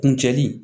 Kuncɛli